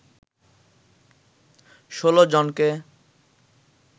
১৬ জনকে